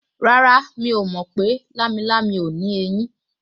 Rárá, mi ò mọ̀ pé lámilámi ò ní eyín